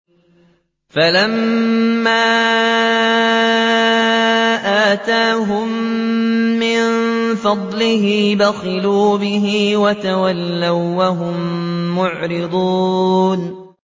فَلَمَّا آتَاهُم مِّن فَضْلِهِ بَخِلُوا بِهِ وَتَوَلَّوا وَّهُم مُّعْرِضُونَ